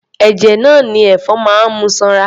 Ẹ̀jẹ̀ náà ni ẹ̀fọn ń mu sanra.